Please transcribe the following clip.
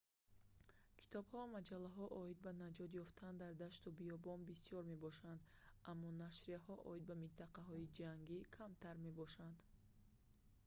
китобҳо ва маҷаллаҳо оид ба наҷот ёфтан дар дашту биёбон бисёр мебошанд аммо нашрияҳо оид ба минтақаҳои ҷангӣ камтар мебошанд